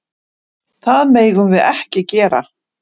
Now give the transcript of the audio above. Það megum við ekki gera.